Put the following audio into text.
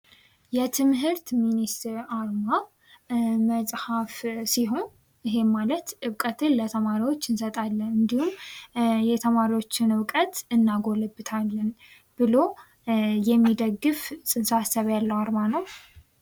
የትምህርት ሚኒስቴር አርማ መጽሐፍ ሲሆን፤ ይህም ማለት ዕውቀትን ለተማሪዎች እንሰጣለን ።እንዲሁም የተማሪዎችን እውቀትን እናጎለብታለን ብሎ የሚደግፍ ጽንሰ ሃሳብ ያለው አርማ ነው።